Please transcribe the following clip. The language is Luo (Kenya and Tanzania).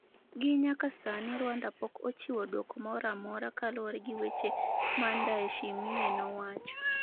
gi nyaka sani Rwanda pok ochiwo duoko moramora kaluwre gi weche ma Ndayishimiye nowacho